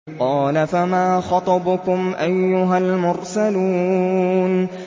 ۞ قَالَ فَمَا خَطْبُكُمْ أَيُّهَا الْمُرْسَلُونَ